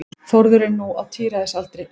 Þórður er nú á tíræðisaldri.